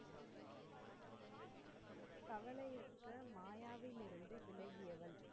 மாயாவில் இருந்து விலகியவன்,